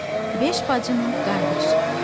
Beş bacının qardaşı.